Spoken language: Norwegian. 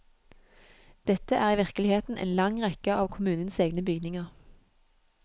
Dette er virkeligheten i en lang rekke av kommunens egne bygninger.